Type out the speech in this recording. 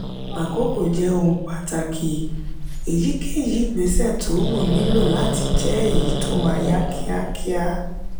àkókò jẹ ohun pàtàkì. èyíkéyìí ìgbésẹ tó wù nílò láti jẹ èyí tó máa yá kíákíá.